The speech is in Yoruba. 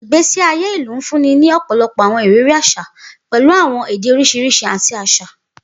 Igbesi aye ilu nfunni ni ọpọlọpọ awọn iriri aṣa, pẹlu awọn ede oriṣiriṣi, ati aṣa.